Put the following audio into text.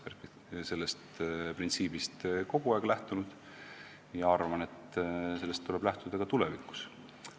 Olen sellest printsiibist kogu aeg lähtunud ja arvan, et sellest tuleb lähtuda ka tulevikus.